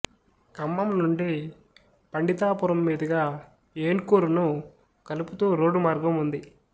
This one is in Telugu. ఖమ్మం నుండి పండితాపురం మీదుగా ఏన్కూరును కలుపుతూ రోడ్డు మామార్గం ఉంది